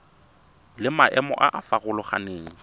le maemo a a farologaneng